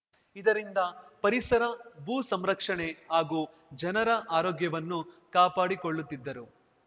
ಇದರಿಂದ ಪರಿಸರ ಭೂ ಸಂರಕ್ಷಣೆ ಹಾಗೂ ಜನರ ಆರೋಗ್ಯವನ್ನು ಕಾಪಾಡಿಕೊಳ್ಳುತ್ತಿದ್ದರು